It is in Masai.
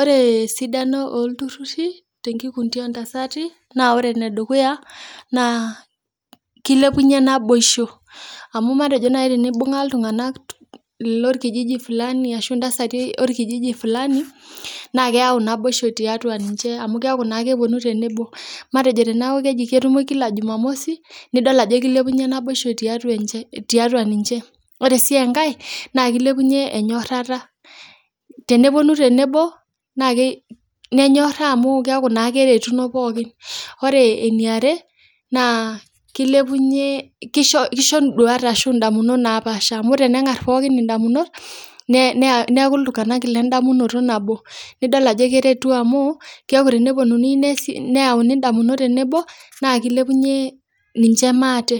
Ore sidano oltururi te nkukundii ontasati naa ore nedukuya naa keilepunye naibosho amu matejo nai teneibung'a iltunganak lolkijiji fulani ashu intasati olkijiji fulani naa keyau naboisho tiatua ninche amu keaku naa keponu tenebo matejo teneaku keji ketumoi kila jumamosi nidol ajo keilepunye naboisho tiatua ninche. Ore sii enkae naa keilepunye enyorrata, teneponu tenebo naa nenyorrsa amu keaku naa keretuno pookin. Ore eneare naa keilepunye, keisho induat ashu indamunot napaash amu tenengar pookin indamunot, neaku iltunganak le indamunoto nabo, nidol ajo keretu amu keaku teneponuni neyauni indamunot tenebo naa keilepunye ninche maate